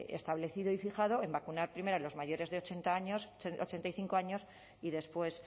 establecido y fijado en vacunar primero a los mayores de ochenta años ochenta y cinco años y después